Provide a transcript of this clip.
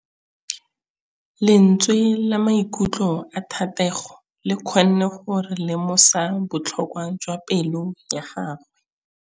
Lentswe la maikutlo a Thategô le kgonne gore re lemosa botlhoko jwa pelô ya gagwe.